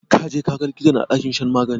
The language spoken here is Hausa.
Ka je ka ga likitan a ɗakin shan magani?